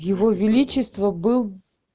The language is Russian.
его величество был